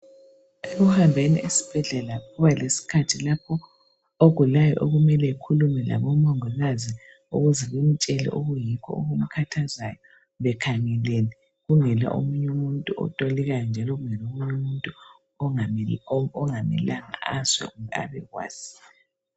Ekuhambeni esibhedlela kuba lesikhathi lapho ogulayo okumele akhulume labomongikazi ukuze bamtshele lokhu okumkhathazayo bekhangelene, kungela omunye umuntu otolikayo, njalo kungela omunye umuntu ongamelanga azwe kumbe abekwazi.